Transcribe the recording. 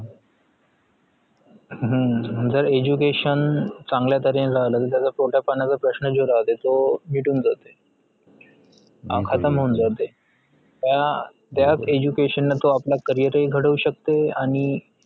हम्म जर education चांगलय तर्हेने झालं तर त्याच्या पोटापाण्याचा प्रश्न जो राहते तो मिटून जातेय खतम होऊन जातेय अं त्या education ने तो आपले carrier हि घडवू शकतेआणि